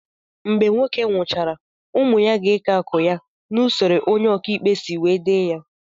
Mgbe nwoke nwuchara ụmụ ya gá eke akụ ya na usoro onye oka ikpe si wee dee ya